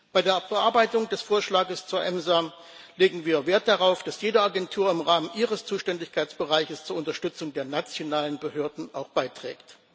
Bei der Bearbeitung des Vorschlags zur EMSA legen wir Wert darauf, dass auch jede Agentur im Rahmen ihres Zuständigkeitsbereichs zur Unterstützung der nationalen Behörden beiträgt